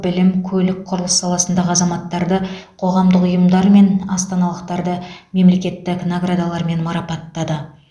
білім көлік құрылыс саласындағы азаматтарды қоғамдық ұйымдар мен астаналықтарды мемлекеттік наградалармен марапаттады